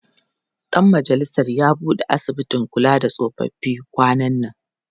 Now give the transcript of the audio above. Ɗan majalisar ya buɗe asibitin kula da tsofaffi kwanan nan.